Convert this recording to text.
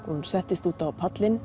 hún settist út á pallinn